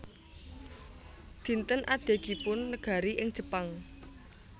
Dinten Adegipun Negari ing Jepang